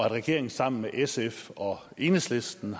regeringen sammen med sf og enhedslisten